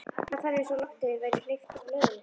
Hvarf eins og lofti væri hleypt úr blöðru.